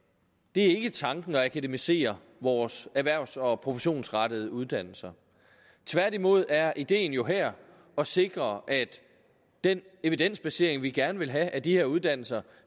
det er ikke tanken at akademisere vores erhvervs og professionsrettede uddannelser tværtimod er ideen jo her at sikre at den evidensbasering vi gerne vil have af de her uddannelser